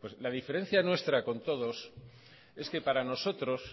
pues la diferencia nuestra con todos es que para nosotros